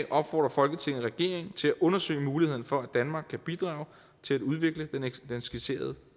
opfordrer folketinget regeringen til at undersøge mulighederne for at danmark kan bidrage til at udvikle den skitserede